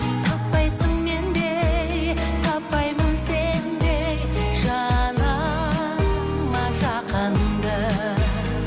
таппайсың мендей таппаймын сендей жаныма жақынды